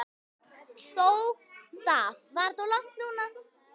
Þó það.